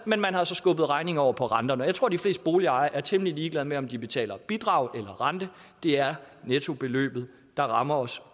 man har så skubbet regningen over på renterne jeg tror at de fleste boligejere er temmelig ligeglade med om de betaler bidrag eller renter det er nettobeløbet der rammer os